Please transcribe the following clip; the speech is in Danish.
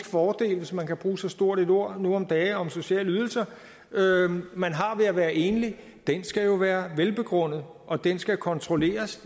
fordel hvis man kan bruge så stort et ord nu om dage om sociale ydelser man har ved at være enlig skal jo være velbegrundet og den skal kontrolleres